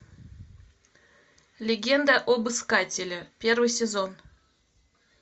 легенда об искателе первый сезон